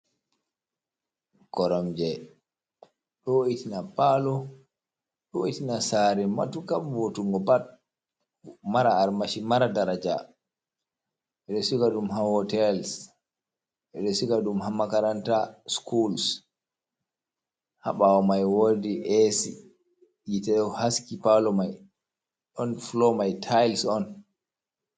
Koromje do vo'itina paalo, ɗo vo`itina saare matuuka, vo'utunngo pat, mara armashi, mara daraja, be siga ɗum haa hootels, ɓe siga ɗum haa makaranta sukuls haa ɓaawo may woodi eesi, yiite ɗo haski paalo may, ɗon fuloo may tayels on.